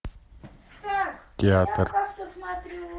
театр